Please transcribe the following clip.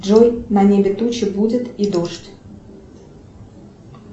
джой на небе тучи будет и дождь